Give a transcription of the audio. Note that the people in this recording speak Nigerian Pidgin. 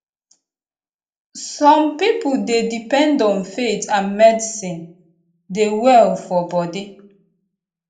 some people dey depend on faith and medicine dey well for body